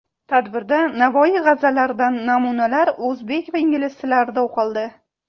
Tadbirda Navoiy g‘azallaridan namunalar o‘zbek va ingliz tillarida o‘qildi.